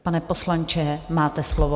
Pane poslanče, máte slovo.